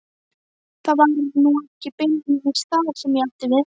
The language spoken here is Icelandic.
Það var nú ekki beinlínis það sem ég átti við.